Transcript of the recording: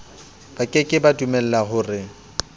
ba ke ke ba dumelahore